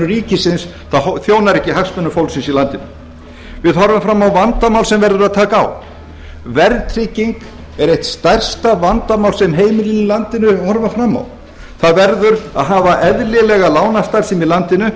ríkisins það þjónar ekki hagsmunum fólksins í landinu við horfum fram á vandamál sem verður að taka á verðtrygging er eitt stærsta vandamál sem heimilin í landinu horfa fram á það verður að hafa eðlilega lánastarfsemi í landinu